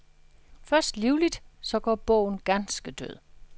Først livligt, så går bogen ganske død.